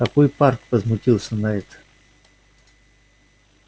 какой парк возмутился найд